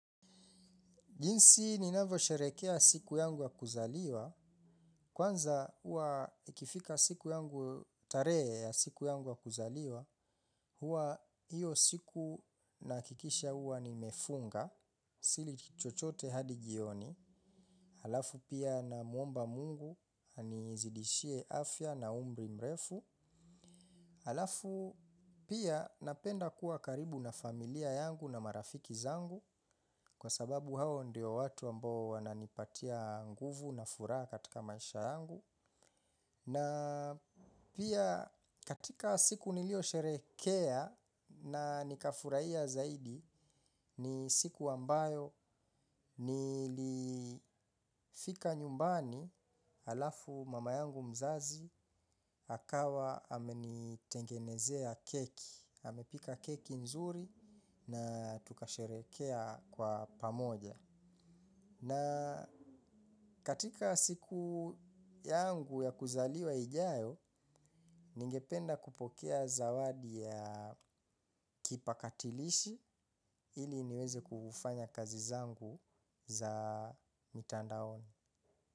Jinsi ninavyosherekea siku yangu wa kuzaliwa, kwanza huwa ikifika siku yangu tarehe ya siku yangu ya kuzaliwa, huwa hiyo siku nahakikisha huwa nimefunga, sili kitu chochote hadi jioni, alafu pia namuomba mungu, anizidishie afya na umri mrefu, halafu pia napenda kuwa karibu na familia yangu na marafiki zangu kwa sababu hao ndio watu ambao wananipatia nguvu na furaha katika maisha yangu. Na pia katika siku niliyosherehekea na nikafurahia zaidi ni siku ambayo nilifika nyumbani alafu mama yangu mzazi akawa amenitengenezea keki, amepika keki nzuri na tukasherehekea kwa pamoja. Na katika siku yangu ya kuzaliwa ijayo, ningependa kupokea zawadi ya kipakatilishi ili niweze kufanya kazi zangu za mitandaoni.